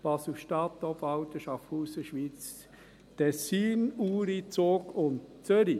Basel-Stadt, Obwalden, Schaffhausen, Schwyz, Tessin, Uri, Zug und Zürich.